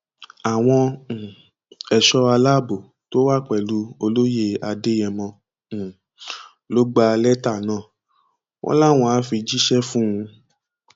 àwọn um ẹṣọ aláàbò tó wà pẹlú olóyè adéyẹmọ um ló gba lẹtà náà wọn láwọn àá fi jíṣẹ fún un